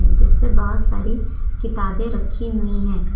जिसपे बहोत सारी किताबें रखी हुई है।